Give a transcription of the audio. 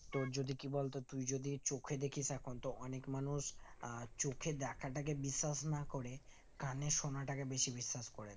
তোর যদি কি বলতো তুই যদি চোখে দেখিস এখন তো অনিক মানুষ আহ চোখের দেখাটাকে বিশ্বাস না করে কানে সোনাটাকে বেশি বিশ্বাস করে তার